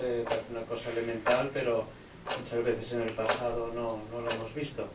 Parece una cosa elemental, pero muchas veces, en el pasado, no lo hemos visto.